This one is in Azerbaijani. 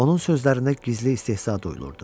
Onun sözlərində gizli istehza duyulurdu.